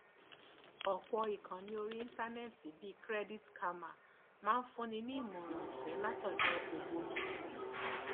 ọpọ ìkànnì orí íńtánẹẹtì bíi credit karma máa ń fúnni ní ìmọràn ọfẹé látọdọ ògbógi